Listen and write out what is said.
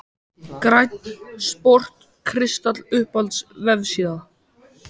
Grænn sport kristall Uppáhalds vefsíða?